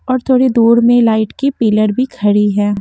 और थोड़ी दूर में लाइट की पिलर भी खड़ी हैं।